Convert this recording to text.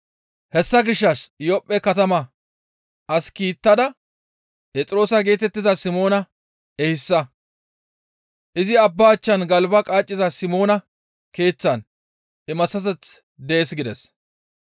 Hessa gishshas Iyophphe katama as kiittada Phexroosa geetettiza Simoona ehisa; izi abba achchan galba qaaciza Simoona keeththan imaththateth dees› gides.